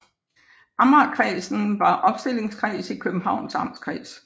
Amagerkredsen var opstillingskreds i Københavns Amtskreds